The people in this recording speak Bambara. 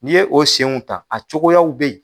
N'i ye o senw ta a cogoyaw be yen